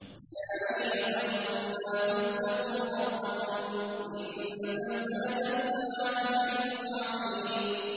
يَا أَيُّهَا النَّاسُ اتَّقُوا رَبَّكُمْ ۚ إِنَّ زَلْزَلَةَ السَّاعَةِ شَيْءٌ عَظِيمٌ